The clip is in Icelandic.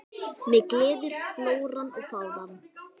Mig gleður flóran og fánan.